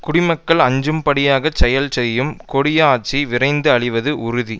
குடிமக்கள் அஞ்சும்படியாகச் செயல் செய்யும் கொடிய ஆட்சி விரைந்து அழிவது உறுதி